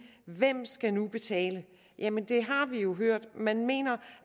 hvem skal nu betale jamen det har vi jo hørt man mener